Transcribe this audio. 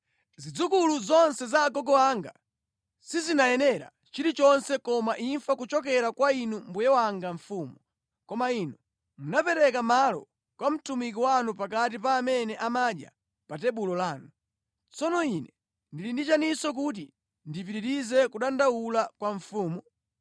Zidzukulu zonse za agogo anga sizinayenera chilichonse koma imfa kuchokera kwa inu mbuye wanga mfumu, koma inu munapereka malo kwa mtumiki wanu pakati pa amene amadya pa tebulo lanu. Tsono ine ndili ndi chiyaninso kuti ndipitirize kudandaula kwa mfumu?”